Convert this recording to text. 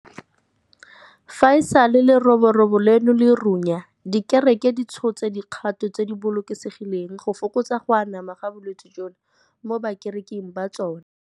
Fa e sale leroborobo leno le runya, dikereke di tshotse dikgato tse di bolokesegileng go fokotsa go anama ga bolwetse jono mo bakereking ba tsona.